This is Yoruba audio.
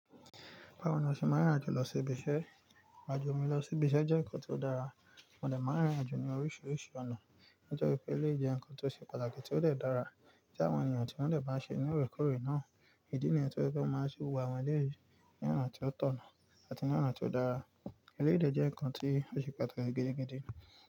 Báwo ni a ṣe máa ń rìn irìn àjò lọ sí ibi iṣẹ́? Ìrìn àjò mi lọ sí ibi iṣẹ́ jẹ́ ǹkan tó dára, mo dẹ máa ń rìn irìn àjò ní oríṣiríṣi ọ̀nà. Nítorí pé eleyi je ńkan tó ṣe pàtàkì tí ó dẹ dára tí àwọn ènìyàn tí wọ́n dẹ máa ń ṣe ní orékòóré náà, ìdí nìyẹn tí wọ́n dẹ máa sé gbogbo àwọn eleyi ní ọ̀nà tí ó tọ̀nà àti ní ọ̀nà tí ó dára. Ilé èdè jẹ́ ǹkan tí ó ṣe pàtàkì gidi gidi.